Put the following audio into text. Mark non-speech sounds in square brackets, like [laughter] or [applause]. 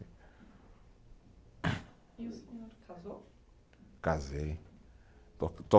E o senhor casou? Casei [unintelligible]